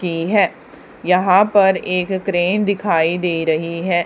की है यहां पर एक क्रेन दिखाई दे रही है।